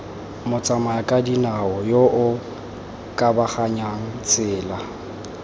motsamayakadinao yo o kabaganyang tsela